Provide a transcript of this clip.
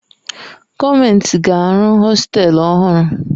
Gọọmentị ga-arụ hostelu ọhụrụ.